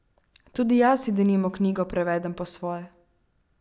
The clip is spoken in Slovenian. Tudi jaz si denimo knjigo prevedem po svoje.